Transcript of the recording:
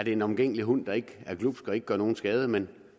en omgængelig hund der ikke er glubsk og ikke gør nogen skade men